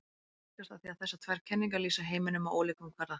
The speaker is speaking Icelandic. Það helgast af því að þessar tvær kenningar lýsa heiminum á ólíkum kvarða.